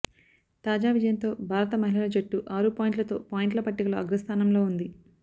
తాజా విజయంతో భారత మహిళల జట్టు ఆరు పాయింట్లతో పాయింట్ల పట్టికలో అగ్రస్థానంలో ఉంది